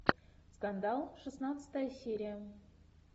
скандал шестнадцатая серия